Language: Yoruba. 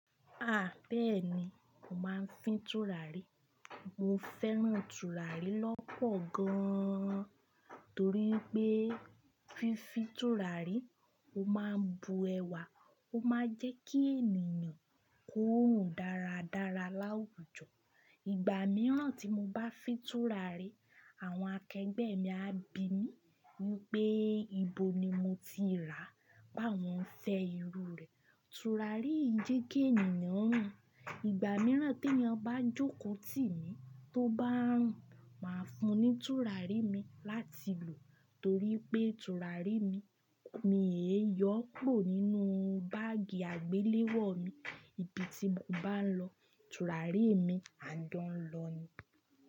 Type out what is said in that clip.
À, bẹ́ẹ̀ni mo máa ń fín tùràrí. Mo fẹ́ràn tùràrí lọ́pọ̀ gan an torí i pé fífi tùràrí ó máa ń bu ẹwà, ó máa ń jẹ́ kí ènìyàn kúru dáradára láwùjọ. Ìgbà mìíràn tí mo bá fín tùràrí, àwọn akẹgbẹ́ mi á bi mí ni pé, ibo ni mo ti rà? Pawọn fẹ irú rẹ̀. Tùràrí yi jẹ́ kí ènìyàn rùn. Ìgbà mìíràn te ẹeyan bá n jókòó tì mí tó bá ń rùn, máa fun ní tùràrí mi láti lò torí pé tùràrí mi, mi è yọ̀ pọ̀ nínú báàgì àgbéléwọ̀ mi. Ibi tí mo bá lọ, tùràrí mi á dàń lọ ni.